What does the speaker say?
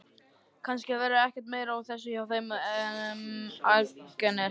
Kannski verður ekkert meira úr þessu hjá þeim Agnesi.